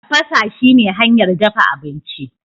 tafasa shine hanyar dafa abinci